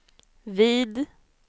vid